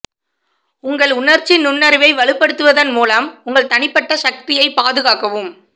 உங்கள் உணர்ச்சி நுண்ணறிவை வலுப்படுத்துவதன் மூலம் உங்கள் தனிப்பட்ட சக்தியை பாதுகாக்கவும்